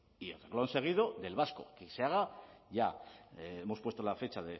y a renglón seguido del vasco que se haga ya hemos puesto la fecha